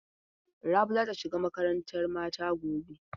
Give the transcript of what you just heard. Rabi za ta shiga makarantan mata gobe.